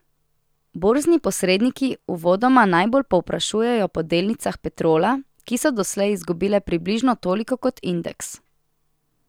Borzni posredniki uvodoma najbolj povprašujejo po delnicah Petrola, ki so doslej izgubile približno toliko kot indeks.